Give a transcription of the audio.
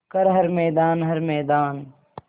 कर हर मैदान हर मैदान